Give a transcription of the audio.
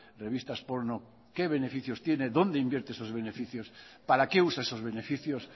revistas porno qué beneficios tiene dónde invierte esos beneficios para qué usa esos beneficios